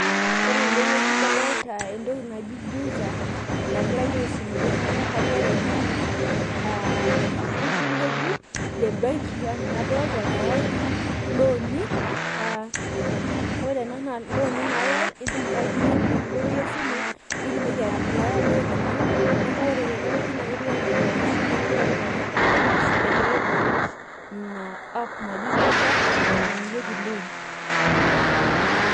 Ore tene wueji naa kadolita entoki naji juza, naagirae aisum iltung'anak. Kajo ore ena naa oltururr ng'ejuk lembenki anaa enadolita, nayae ilooni, ore ena naa looni naayae indim ake aitumia enkoitoi esimu, pee itumoki ae apply loon ino. Neeku ore tene wueji ketiu anaa ina kisoma etii kulo tung'anak, ashu egira ai launch ina app naji juza nayayieki loan.